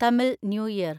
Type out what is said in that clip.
Tamil new year